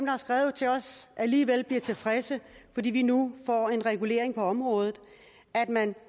har skrevet til os alligevel bliver tilfredse fordi vi nu får en regulering på området